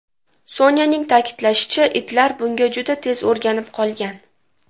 Sonyaning ta’kidlashicha, itlar bunga juda tez o‘rganib olgan.